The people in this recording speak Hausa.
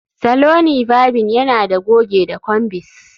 Saloni varbing yana da goge da combis